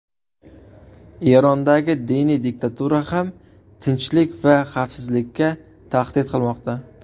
Erondagi diniy diktatura ham tinchlik va xavfsizlikka tahdid qilmoqda.